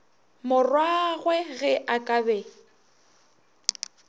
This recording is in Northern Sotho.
morwagwe ge a ka be